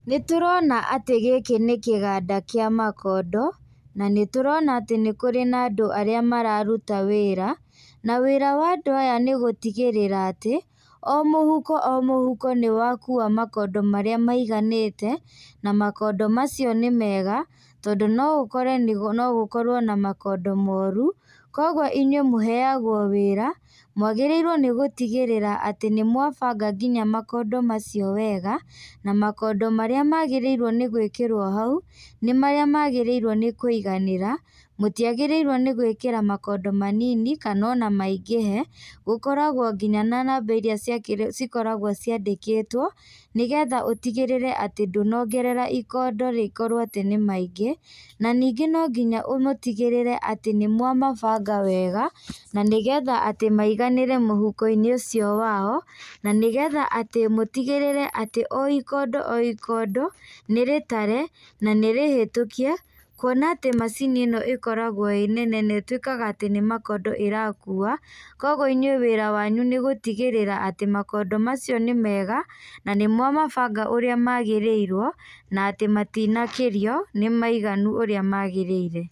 Nĩtũrona atĩ gĩkĩ nĩ kĩganda kĩa makondo, na nĩtũrona atĩ nĩkũrĩ na andũ arĩa mararuta wĩra, na wĩra wa andũ aya nĩgũtigĩrĩra atĩ, o mũhuko o mũhuko nĩwakua makondo marĩa maiganĩte, na makondo macio nĩ mega, tondũ no ũkore no gũkorwo na makondo moru, koguo inyuĩ mũheagwo wĩra, mwagĩrĩirwo nĩ gũtigĩrĩra atĩ nĩmwabanga nginya makondo macio wega, na makondo marĩa magĩrĩirwo nĩ gwĩkĩrwo hau, nĩ marĩa magĩrĩirwo nĩ kũiganĩra, mũtiagĩrĩirwo nĩ gwĩkĩra makondo manini, kana ona maingĩhe, gũkoragwo nginya na namba iria cia cikoragwo ciandĩkĩtwo, nĩgetha ũtigĩrĩre atĩ ndunongera ikondo rĩkorwa atĩ nĩ maingĩ, na ningĩ nonginya mũtigĩrĩre atĩ nĩ mwamabanga wega, na nĩgetha atĩ maiganĩre mũhukoinĩ ũcio wao, na nĩgetha atĩ mũtigĩrĩre atĩ o ikondo o ikondo, nĩrĩtare, na nĩrĩhĩtũkie, kuona atĩ macini ĩno ĩkoragwo ĩ nene na ĩtuĩkaga atĩ nĩ makondo ĩrakua, koguo inyuĩ wĩra wanyu nĩ gũtigĩrĩra atĩ makondo macio nĩ mega na nĩmwamabanga ũrĩa magĩrĩirwo, na atĩ matinakĩrio, nĩmaiganu ũrĩa magĩrĩire.